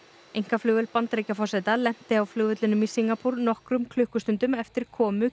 einkaflugvél Bandaríkjaforseta lenti á flugvellinum í Singapúr nokkrum klukkustundum eftir komu